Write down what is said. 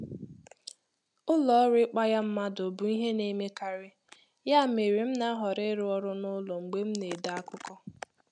Ụlọ oru ikpaya mmadụ bụ ìhè na emekari ya mere, m na-ahọrọ ịrụ ọrụ n'ụlọ mgbe m na-ede akụkọ.